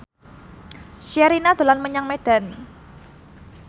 Sherina dolan menyang Medan